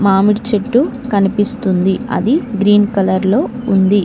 మామిడి చెట్టు కనిపిస్తుంది అది గ్రీన్ కలర్ లో ఉంది.